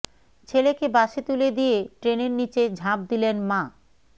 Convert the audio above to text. ছেলেকে বাসে তুলে দিয়ে ট্রেনের নিচে ঝাঁপ দিলেন মা